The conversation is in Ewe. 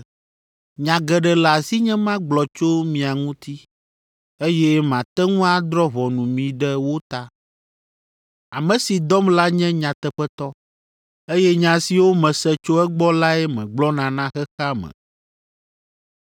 Nya geɖe le asinye magblɔ tso mia ŋuti, eye mate ŋu adrɔ̃ ʋɔnu mi ɖe wo ta. Ame si dɔm la nye nyateƒetɔ, eye nya siwo mese tso egbɔ lae megblɔna na xexea me.”